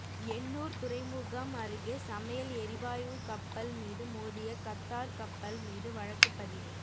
எண்ணூர் துறைமுகம் அருகே சமையல் எரிவாயு கப்பல் மீது மோதிய கத்தார் கப்பல் மீது வழக்குப்பதிவு